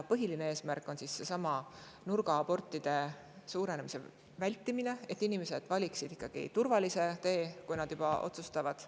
Põhieesmärk on vältida nurgaabortide arvu kasvu, et inimesed valiksid ikkagi turvalise tee, kui nad on juba otsustanud.